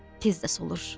Tez də solur.